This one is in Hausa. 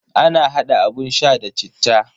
Ana hada abun sha da citta.